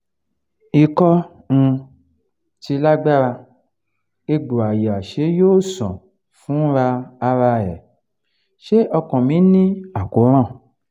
iko um ti lagbara egbo aya se yo san fura ara e se okan mi ni akoran